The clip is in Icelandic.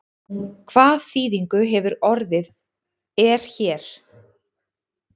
Hvað þýðingu hefur orðið er hér?